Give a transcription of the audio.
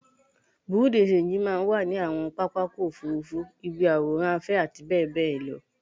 Bùréú dì ṣenjì máa ń wà ní àwọn pápákọ̀ òfuurufú, ibi ìwòran afẹ́ àti bẹ́ẹ̀ bẹ́ẹ̀ lọ